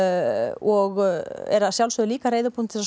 og er að sjálfsögðu líka reiðubúin til að